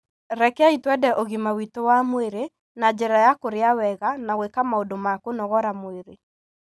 Rekei twende ũgima witũ wa mwĩrĩ na njĩra ya kũrĩa wega na gwĩka maũndũ ma kũnogora mwĩrĩ.